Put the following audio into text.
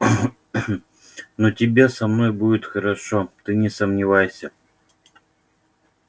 но тебе со мной будет хорошо ты не сомневайся